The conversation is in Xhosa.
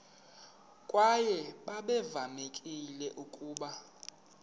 kwaye babevamelekile ukuba